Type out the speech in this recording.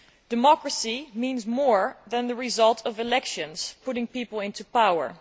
Democracy means more than the result of elections, putting people into power.